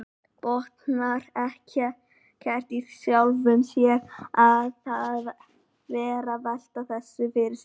Botnar ekkert í sjálfum sér að vera að velta þessu fyrir sér.